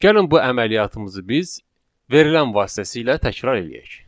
Gəlin bu əməliyyatımızı biz verilən vasitəsilə təkrar eləyək.